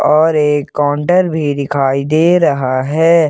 और एक कॉन्टर भी दिखाई दे रहा है।